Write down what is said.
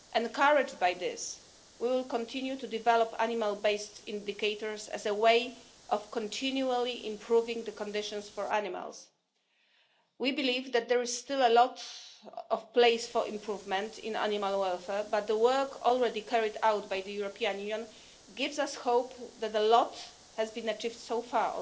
Encouraged by this, we will continue to develop animal-based indicators as a way of continually improving conditions for animals. We believe that there is still a lot of room for improvement in animal welfare, but the work already carried out by the European Union gives us hope that a lot has also been achieved so